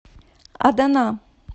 адана